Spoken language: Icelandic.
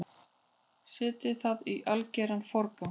Setjið það í algeran forgang.